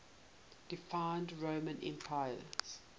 deified roman emperors